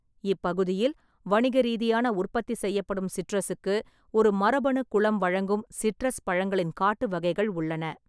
இப்பகுதியில் வணிக ரீதியான உற்பத்தி செய்யப்படும் சிட்ரஸுக்கு ஒரு மரபணு-குளம் வழங்கும் சிட்ரஸ் பழங்களின் காட்டு வகைகள் உள்ளன.